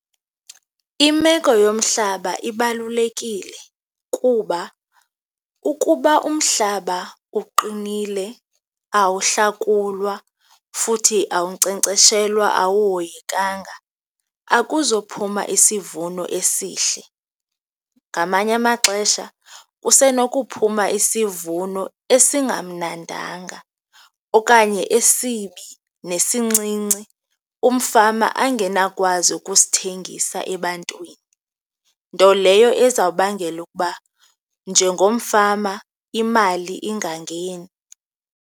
Imeko yomhlaba ibalulekile kuba ukuba umhlaba uqinile awuhlakulwa futhi awunkcenkceshelwa, awuhoyekanga, akuzophuma isivuno esihle. Ngamanye amaxesha kusenokuphuma isivuno esingamnandanga, okanye esibi nesincinci, umfama angenawukwazi ukusithengisa ebantwini, nto leyo eza kubangela ukuba njengomfama imali ingangeni.